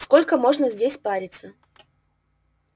сколько можно здесь париться